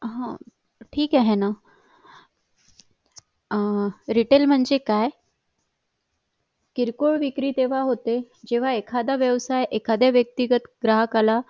हा ठीकआहे ना retail म्हणजे काय किरकोळ विक्री तेव्हा होते जेव्हा एखादा व्यवसाय एखादा व्यक्तीगत ग्राहकाला